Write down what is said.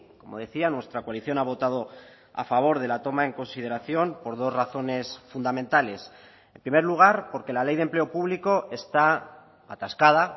como decía nuestra coalición ha votado a favor de la toma en consideración por dos razones fundamentales en primer lugar porque la ley de empleo público está atascada